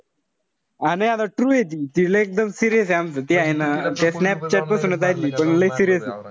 नाई आता true ए ती. ती एकदम लय serious ए आमचं. ती हाये ना स्नॅपचॅट पासन आहे पण लय serious